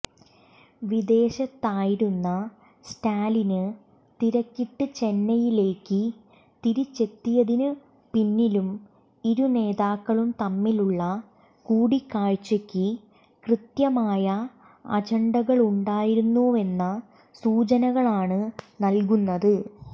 വിദേശത്തായിരുന്ന സ്റ്റാലിന് തിരക്കിട്ട് ചെന്നൈയിലേയ്ക്ക് തിരിച്ചെത്തിയതിന് പിന്നിലും ഇരു നേതാക്കളും തമ്മിലുള്ള കൂടിക്കാഴ്ചയ്ക്ക് കൃത്യമായ അജന്ഡകളുണ്ടായിരുന്നുവെന്ന സൂചനകളാണ് നല്കുന്നത്